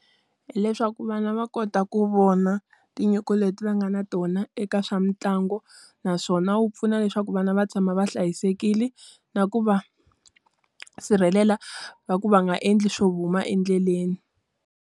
Hileswaku vana va kota ku vona tinyiko leti va nga na tona eka swa mitlangu, naswona wu pfuna leswaku vana va tshama va hlayisekile na ku va sirhelela va ku va nga endli swo huma endleleni.